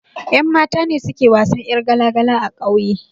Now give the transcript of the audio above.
Ƴan mata ne suke wasan ƴar gala gala a ƙauye